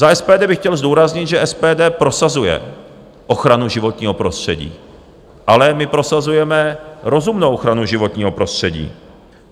Za SPD bych chtěl zdůraznit, že SPD prosazuje ochranu životního prostředí, ale my prosazujeme rozumnou ochranu životního prostředí.